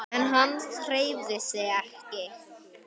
En hann hreyfði sig ekki.